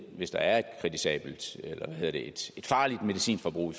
hvis der er et farligt medicinforbrug i